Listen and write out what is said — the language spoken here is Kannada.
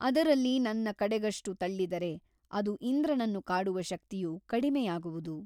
ಅದರಲ್ಲಿ ನನ್ನ ಕಡೆಗಷ್ಟು ತಳ್ಳಿದರೆ ಅದು ಇಂದ್ರನನ್ನು ಕಾಡುವ ಶಕ್ತಿಯು ಕಡಿಮೆಯಾಗುವುದು.